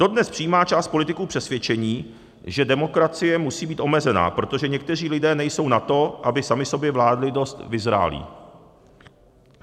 Dodnes přijímá část politiků přesvědčení, že demokracie musí být omezená, protože někteří lidé nejsou na to, aby sami sobě vládli, dost vyzrálí.